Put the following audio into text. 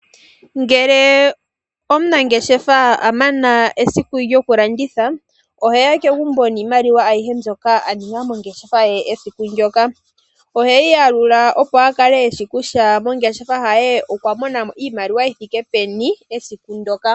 Ngele omunangeshefa amana esiku lyoku landitha, oheya kegumbo niimaliwa ayihe mbyoka aninga mongeshefa ye esiku ndyoka. Oheyi yalula opo akale eshi kutya mongeshefa ye okwa monamo iimaliwa yithike peni esiku ndyoka.